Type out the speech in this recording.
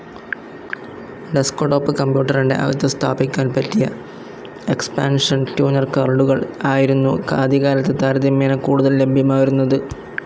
Desktop കമ്പ്യൂട്ടറിന്റെ അകത്ത് സ്ഥാപിക്കാൻ പറ്റിയ എക്സ്പാൻഷൻ ട്യൂണർ കാർഡുകൾ ആയിരുന്നു ആദ്യകാലത്ത് താരതമ്യേന കൂടുതൽ ലഭ്യമായിരുന്നതു്.